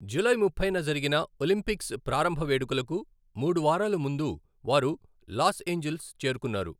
July ముప్పైన జరిగిన Olympics ప్రారంభ వేడుకలకు మూడు వారాల ముందు వారు లాస్ ఏంజెల్స్ చేరుకున్నారు.